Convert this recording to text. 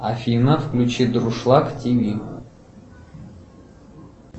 афина включи дуршлак тв